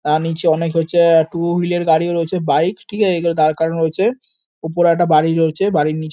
তাঁর নিচে অনেক হচ্ছে টু হুইল এর গাড়িও রয়েছে বাইক ঠিক আছে দাঁড় করানো রয়েছে। উপরে একটা বাড়ি রয়েছে বাড়ির নি--